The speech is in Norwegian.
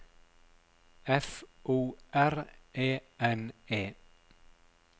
F O R E N E